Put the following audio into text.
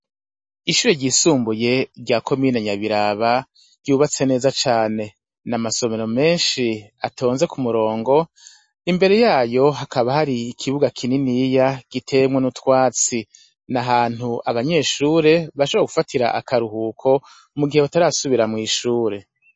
Ishure ryisumbuye rya komine nyabiraba ryubatse neza cane n'amasomero menshi atonze ku murongo imbere yayo hakaba hari ikibuga kininiya gitewemwo n'utwatsi, n'ahantu abanyeshure bashobora gufatira akaruhuko mu gihe batarasubira mw'ishure.